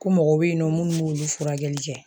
Ko mɔgɔw be yen nɔ munnu b'olu furakɛli kɛ